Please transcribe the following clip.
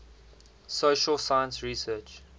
social science research